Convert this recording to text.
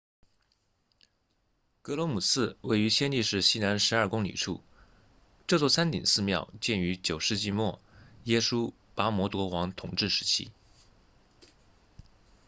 格罗姆寺位于暹粒市西南12公里处这座山顶寺庙建于9世纪末耶输跋摩国王统治时期